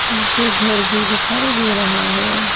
मुझे घर भी दिखाई दे रहा है।